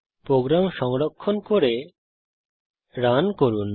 programme সংরক্ষণ করে run করুন